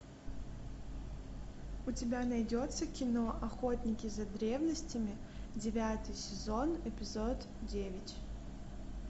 у тебя найдется кино охотники за древностями девятый сезон эпизод девять